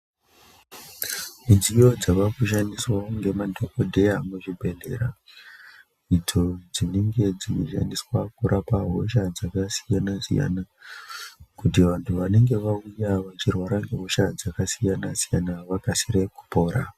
Midziyo dzava kushandiswa ngemadhokodheya muzvibhedhlera idzo dzinenge dzichishandiswa kurapa hosha dzakasiyana siyana kuti vantu vanenge vauya vachirwara ngehosha dzakasiyana siyana vakasire kupora.